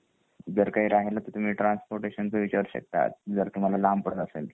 जर काही राहील तर तुम्ही ट्रान्सपोरटेशन च विचारू शकता जर तुम्हाला लांब पडत असेल तर